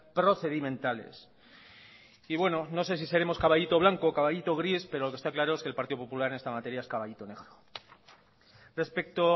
procedimentales y bueno no sé si seremos caballito blanco caballito gris pero lo que está claro es que el partido popular en esta materia es caballito negro respecto